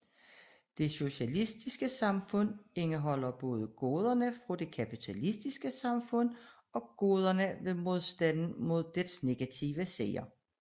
Det socialistiske samfund indeholder både goderne fra det kapitalistiske samfund og goderne ved modstanden mod dets negative sider